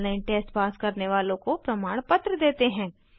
online test pass करने वालों को प्रमाणपत्र देते हैं